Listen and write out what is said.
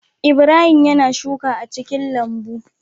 Ibrahim yAna shuka a cikin lambu